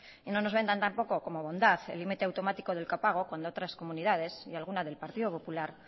y no nos vendan tampoco como bondad el limite automático del copago cuando otras comunidades y alguna del partido popular